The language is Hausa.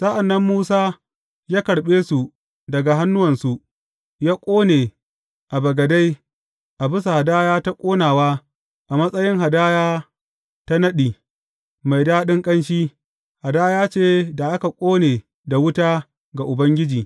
Sa’an nan Musa ya karɓe su daga hannuwansu ya ƙone a bagade a bisa hadaya ta ƙonawa a matsayin hadaya ta naɗi, mai daɗin ƙanshi, hadaya ce da aka ƙone da wuta ga Ubangiji.